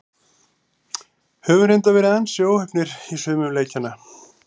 Höfum reyndar verið ansi óheppnir í sumum leikjanna.